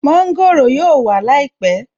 Mọ́ńgòrò yóò wà láìpẹ̀